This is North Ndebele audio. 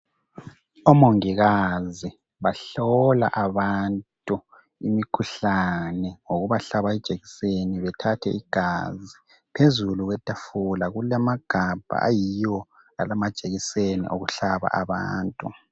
Omongikazi bahlola abantu imikhuhlane ngokubahlaba ijekiseni ngobathathe igazi. Phezulu kwethafula kulamagabha ayiwo alamajekiseni okuhlaba abantu.